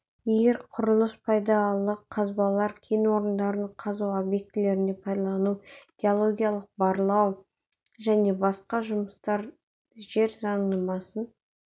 егер құрылыс пайдалы қазбалар кен орындарын қазу объектілерді пайдалану геологиялық-барлау және басқа жұмыстар жер заңнамасын